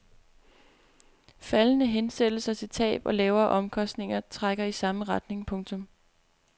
Faldende hensættelser til tab og lavere omkostninger trækker i samme retning. punktum